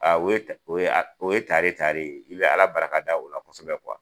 o ye tare tare , i bɛ Ala barika da o la kosɛbɛ kuwa.